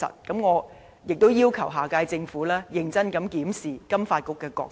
因此，我要求下屆政府認真檢視金發局的角色。